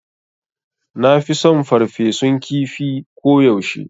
Nafi son ferfesun kifi ko yaushe